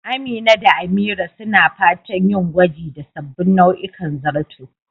Amina da Amira suna fatan yin gwaji da sabbin nau'ikan zarto